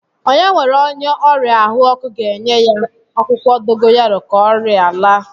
Onye nwere onye ọrịa ahụ ọkụ ga-enye ya akwụkwọ dogoyaro ka ọria laa